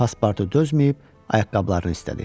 Paspartu dözməyib ayaqqabılarını istədi.